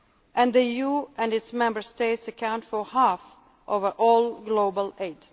outside. And the EU and its Member States account for half of all global